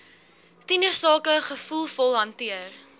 tienersake gevoelvol hanteer